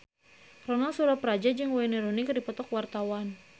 Ronal Surapradja jeung Wayne Rooney keur dipoto ku wartawan